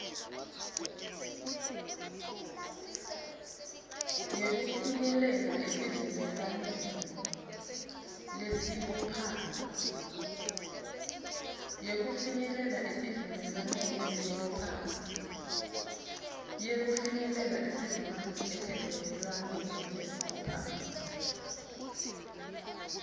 yekufinyelela esivumelwaneni lesibophako